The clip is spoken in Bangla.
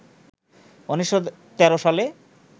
১৯১৩ সালে